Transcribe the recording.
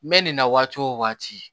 N bɛ nin na waati o waati